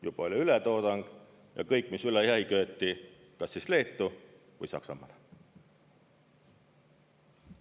Juba oli ületoodang ja kõik, mis üle jäi, köeti kas siis Leetu või Saksamaale.